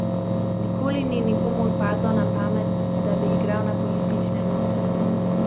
Nikoli ni nikomur padlo na pamet, da bi igral na politične note.